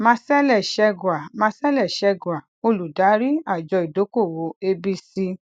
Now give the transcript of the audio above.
marcelle chegwa marcelle chegwa olùdarí àjọ ìdókòwò abc